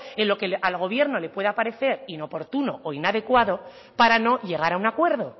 en lo que al gobierno le pueda parecer inoportuno o inadecuado para no llegar a un acuerdo